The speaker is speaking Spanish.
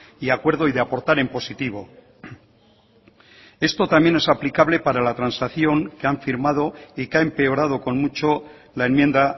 y acuerdo y de aportar en positivo esto también es aplicable para la transacción que han firmado y que ha empeorado con mucho la enmienda